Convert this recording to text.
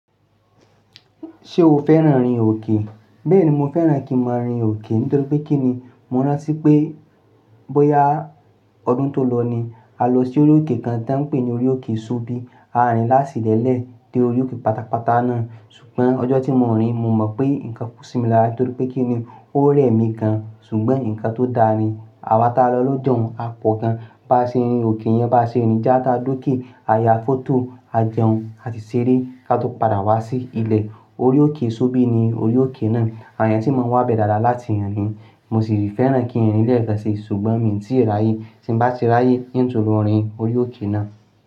Ṣé o fẹ́ràn rin òkè? Bẹ́ẹ̀ni, mo fẹ́ràn kí mọ́ rin òkè nítorí pé kí ni, mo rántí pé bóyá ọdún tò lọ ni, a lọ sí orí òkè kan tí wọ́n ń pè ní orí òkè sóbí. A rìn lásìlẹ̀ lẹ́ẹ̀ dé orí òkè pátápátá náà. Ṣùgbọ́n ọjọ́ tí mo rìn, mo mọ̀ pé nǹkan kú sí mi lára nítorí pé kí ni ó rẹ̀ mi gan an. Ṣùgbọ́n nǹkan tó da ni, àwa tá lọ lọ́jọ̀ún, a pọ̀ gan an, bá ṣe rin òkè yẹn bá ṣe rìn, já tá dókè, a ya fọ́tò, a jẹun, a sì ṣeré ká tó padà wá sí ilé. Orí òkè sóbí ni orí òkè náà. Àwọn ènìyàn sí máa ń wá bẹ̀ dáadáa láti rìn in. Mo sì rí fẹ́ràn kí n ri lẹ́ẹ́kan ṣi, ṣùgbọ́n mí tíì ráyè. Tí ń bá ti ráyè n tun lo rín òri orí òkè náà.